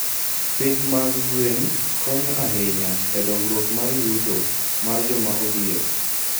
Pith mag gwen konyo ahinya e dongruok mar yuto mar joma odhier.